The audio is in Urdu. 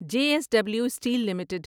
J S W steel limited